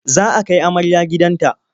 Za a kai amarya gidan ta.